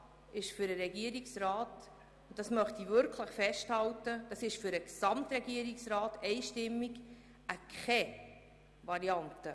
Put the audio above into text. Das ist für den Regierungsrat – und ich möchte das festhalten: für den gesamten Regierungsrat – keine Variante.